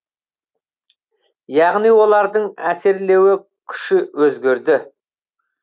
яғни олардың әсерлеуі күші өзгереді